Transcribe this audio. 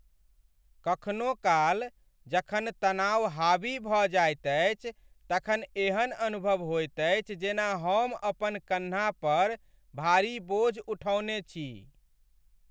कखनो काल, जखन तनाव हावी भऽ जाइत अछि तखन एहन अनुभव होइत अछि जेना हम अपन कन्हा पर भारी बोझ उठौने छी।